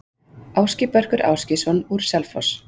Ásgeir Börkur Ásgeirsson, úr Selfoss